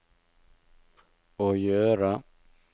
å gjøre